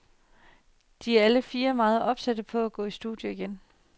De er alle fire meget opsatte på at gå i studiet igen.